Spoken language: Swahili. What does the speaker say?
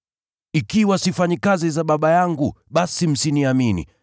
Ikiwa sifanyi kazi za Baba yangu, basi msiniamini,